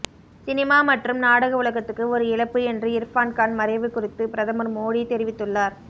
cinema மற்றும் நாடக உலகத்துக்கு ஒரு இழப்பு என்று இர்பான் கான் மறைவு குறித்து பிரதமர் மோடி தெரிவித்துள்ளார்